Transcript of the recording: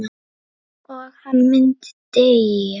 Að hann myndi deyja.